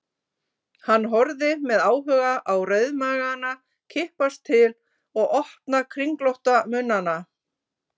Hann horfði með áhuga á rauðmagana kippast til og opna kringlótta munnana.